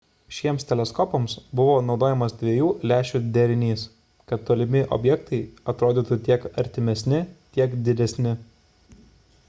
šiems teleskopams buvo naudojamas dviejų lęšių derinys kad tolimi objektai atrodytų tiek artimesni tiek didesni